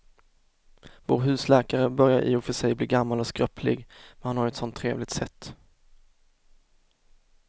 Vår husläkare börjar i och för sig bli gammal och skröplig, men han har ju ett sådant trevligt sätt!